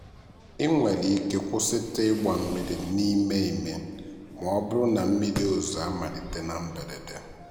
ị nwere ike kwụsịtụ ịgba mmiri n'ime ime ma ọ bụrụ na mmiri ozuzo amalite na mberede.